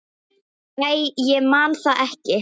Æ, ég man það ekki.